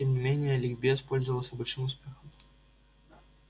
тем не менее ликбез пользовался большим успехом